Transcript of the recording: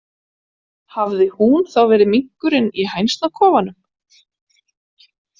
Hafði hún þá verið minkurinn í hænsnakofanum?